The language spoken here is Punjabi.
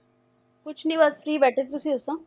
ਕੁਛ ਨੀ ਬੱਸ free ਬੈਠੇ ਸੀ ਤੁਸੀਂ ਦੱਸੋ